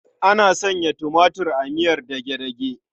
Ana sanya tumatir a miyar dage-dage.